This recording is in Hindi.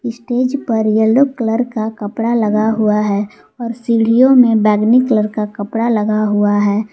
स्टेज पर येलो कलर का कपड़ा लगा हुआ है और सीढ़ियों में बैगनी कलर का कपड़ा लगा हुआ है।